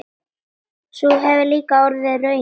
Sú hefur líka orðið raunin.